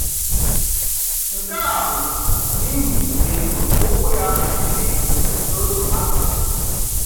Nke a bụ n’ihi etu ụkwụ ya si dị, n’otu akụkụ.